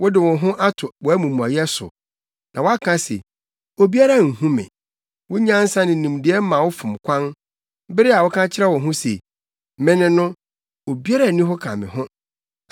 Wode wo ho ato wʼamumɔyɛ so na waka se, ‘Obiara nhu me.’ Wo nyansa ne nimdeɛ ma wo fom kwan bere a woka kyerɛ wo ho se, ‘Me ne no, obiara nni hɔ ka me ho.’